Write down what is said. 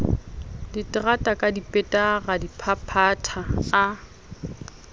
diterata ka dipeta radiphaphatha a